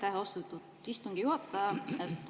Aitäh, austatud istungi juhataja!